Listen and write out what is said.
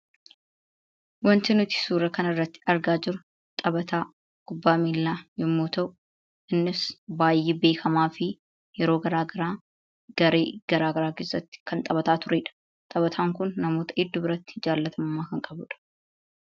Wanti nuti suuraa kanarratti argaa jirru taphataa kubbaa miillaa yommuu ta'u, innis baay'ee beekamaa fi yeroo garaagaraa garee garaagaraa keessatti kan taphataa turee dha. Taphataan kun namoota hedduu biratti jaalatamummaa kan qabu dha.